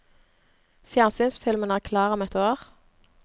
Fjernsynsfilmen er klar om ett år.